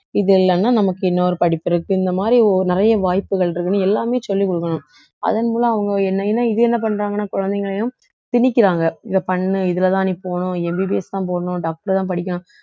இது இல்லைன்னா நமக்கு இன்னொரு படிப்பு இருக்கு இந்த மாதிரி ஓ~ நிறைய வாய்ப்புகள் இருக்குன்னு எல்லாமே சொல்லிக் கொடுக்கணும் அதன் மூலம் அவங்க என்னை ஏன்னா இது என்ன பண்றாங்கன்னா குழந்தைகளையும் திணிக்கிறாங்க இதை பண்ணு இதுலதான் நீ போகணும் MBBS தான் போடணும் doctor தான் படிக்கணும்